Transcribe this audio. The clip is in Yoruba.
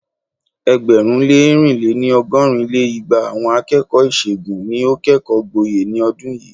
ẹgbẹ̀rún lé ẹ̀rin lé-ní- ọgọ́rin lé igba àwọn akẹ́kọ̀ọ́ ìṣègùn ni ó kẹ́kọ̀ọ́ gboyè ní ọdún yìí.